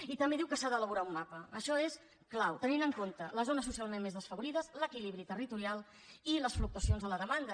i també diu que s’ha d’elaborar un mapa això és clau tenint en compte les zones socialment més desfavorides l’equilibri territorial i les fluctuacions de la demanda